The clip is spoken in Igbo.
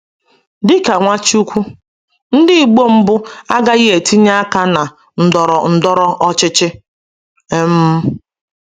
Dị ka Nwachukwu, ndị Igbo mbụ agaghị etinye aka na ndọrọ ndọrọ ọchịchị. um